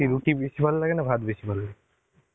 রুটি বেশি ভালো লাগে না ভাত বেশি ভালো লাগে?